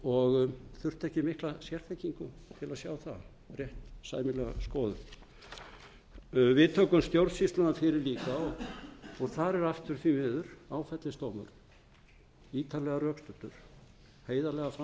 og þurfti ekki mikla sérþekkingu til að sjá það rétt sæmilega skoðun við tökum stjórnsýsluna fyrir líka og þar er aftur því miður áfellisdómur ítarlega rökstuddur